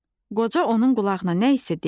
Qoca onun qulağına nə isə dedi.